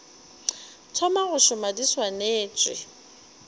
thoma go šoma di swanetše